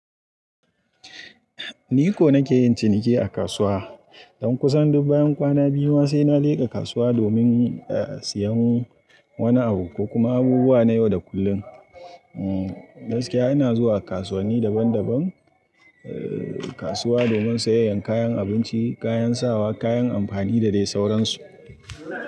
Ni ko nake yin ciniki a kasuwa. Don kusan duk bayan kwana biyu ma sai na leƙa kasuwa domin siyan wani abu ko kuma abubuwa na yau da kullum. Umm, gaskiya ina zuwa kasuwanni daban-daban, kasuwa domin sayayyan kayan abinci, kayan sawa, kayan amfani da dai sauransu.